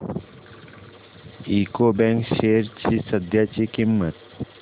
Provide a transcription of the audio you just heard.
UCO bank shares ची सध्याची किंमत